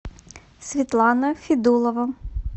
светлана федулова